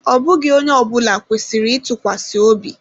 Ọ bụghị onye ọbụla kwesịrị ịtụkwasịobi.